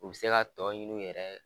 U bi se ka tɔ ɲini u yɛrɛ ye.